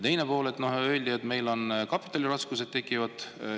Teiseks öeldi, et meil tekivad raskused kapitaliga.